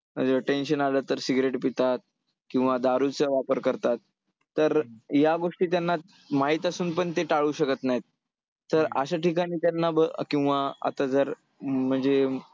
tension आलं तर cigarette पितात, किंवा दारूचं वापर करतात, तर या गोष्टी त्यांना माहीत असून पण ते टाळू शकत नाहीत तर अशा ठिकाणी त्यांना किंवा आता जर म्हणजे